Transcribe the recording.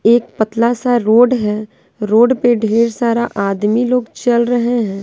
एक पतला सा रोड है रोड पर ढेर सारा आदमी लोग चल रहे हैं।